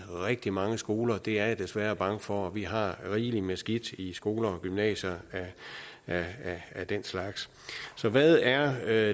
rigtig mange skoler det er jeg desværre bange for og vi har rigeligt med skidt i skoler og gymnasier af den slags så hvad er